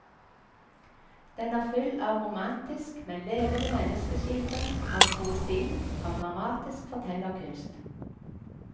Den er full av romantisk, men levende menneskeskildring, av poesi, av dramatisk fortellerkunst.